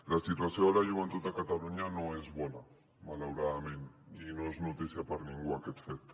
la situació de la joventut a catalunya no és bona malauradament i no és notícia per a ningú aquest fet